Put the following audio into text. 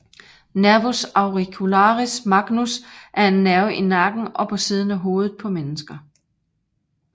Nervus auricularis magnus er en nerve i nakken og på siden af hovedet på mennesker